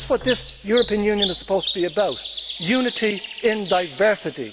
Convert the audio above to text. That is what this European Union is supposed to be about unity in diversity.